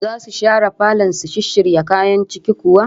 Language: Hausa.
Zasu share falon su shisshirya kayan ciki kuwa?